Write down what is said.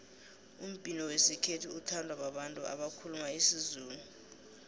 umbhino wesikhethu uthandwa babantu abakhuluma isizulu